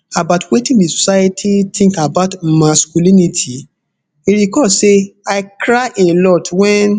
about wetin di society tink about masculinity e recall say i cry a lot wen